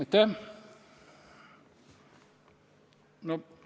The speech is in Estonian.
Aitäh!